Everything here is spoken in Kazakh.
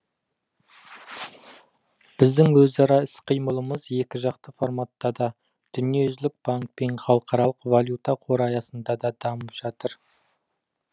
біздің өзара іс қимылымыз екіжақты форматта да дүниежүзілік банк пен халықаралық валюта қоры аясында да дамып жатыр